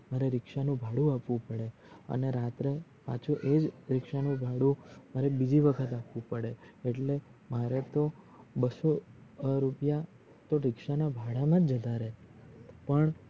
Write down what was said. મારે રીક્ષ ભાડું આપવું પડે અને રાત્રે એજ રીક્ષ નું ભાડું મારે બીજી વખત આપવું પડે આટલે મારે તો બસ્સો રૂપયા રીક્ષ ના ભાડા મજ જતાં રાય પણ